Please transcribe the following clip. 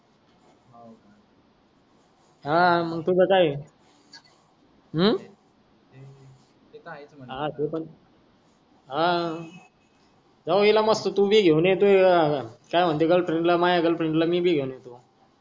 हा मंग तुझ काय ऊ हा ते पण हा जाऊ इला मस्त तु भी घेऊन ये तु काय मन्ते गर्लफ्रेंड माया गर्लफ्रेंड मी भी घेऊन येतो.